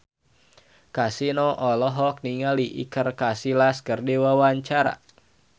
Kasino olohok ningali Iker Casillas keur diwawancara